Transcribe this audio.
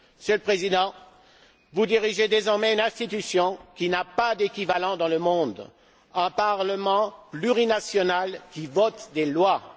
Monsieur le Président, vous dirigez désormais une institution qui n'a pas d'équivalent dans le monde un Parlement plurinational, qui vote des lois.